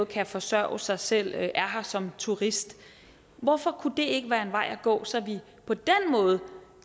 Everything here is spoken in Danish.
kan forsørge sig selv er her som turist hvorfor kunne det ikke være en vej at gå så vi på den måde